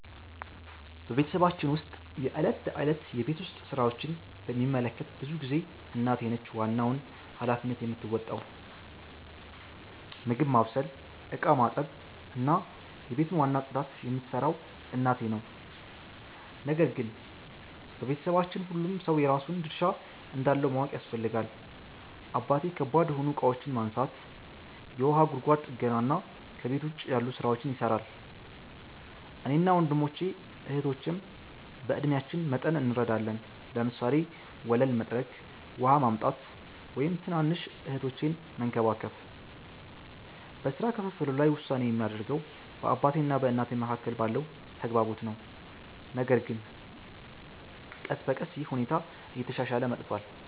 በቤተሰባችን ውስጥ የዕለት ተዕለት የቤት ውስጥ ሥራዎችን በሚመለከት ብዙ ጊዜ እናቴ ነች ዋናውን ሃላፊነት የምትወጣው። ምግብ ማብሰል፣ ዕቃ ማጠብ፣ እና የቤቱን ዋና ጽዳት የምትሠራው እናቴ ነው። ነገር ግን በቤታችን ሁሉም ሰው የራሱን ድርሻ እንዳለው ማወቅ ያስፈልጋል። አባቴ ከባድ የሆኑ እቃዎችን ማንሳት፣ የውሃ ጉድጓድ ጥገና እና ከቤት ውጭ ያሉ ሥራዎችን ይሠራል። እኔና ወንድሞቼ እህቶቼም በዕድሜአችን መጠን እንረዳለን፤ ለምሳሌ ወለል መጥረግ፣ ውሃ ማምጣት፣ ወይም ትናንሽ እህቶቼን መንከባከብ። በሥራ ክፍፍሉ ላይ ውሳኔ የሚደረገው በአባቴ እና በእናቴ መካከል ባለው ተግባቦት ነው፣ ነገር ግን ቀስ በቀስ ይህ ሁኔታ እየተሻሻለ መጥቷል።